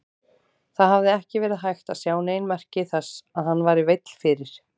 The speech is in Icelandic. Það hafði ekki verið hægt að sjá nein merki þess að hann væri veill fyrir.